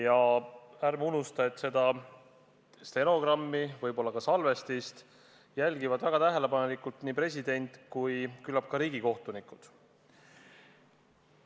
Ja ärme unustame, et seda stenogrammi ja võib-olla ka videosalvestist jälgivad väga tähelepanelikult nii president kui küllap ka riigikohtunikud.